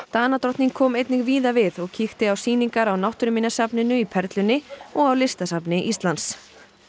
Danadrottning kom einnig víða við og kíkti á sýningar á Náttúruminjasafninu í Perlunni og á Listasafni Íslands